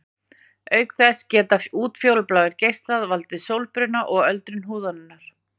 Auk þess geta útfjólubláir geislar valdið sólbruna og öldrun húðarinnar.